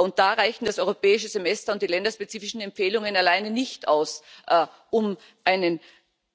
Und da reichen das Europäische Semester und die länderspezifischen Empfehlungen alleine nicht aus, um die